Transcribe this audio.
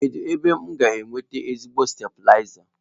Kedụ ebee m ga enweta ezigbote stabịlaza?